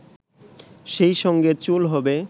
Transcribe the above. সেইসঙ্গে চুল হবে